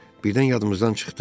Birdən yadımızdan çıxdı.